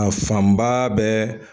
A fanba bɛɛ.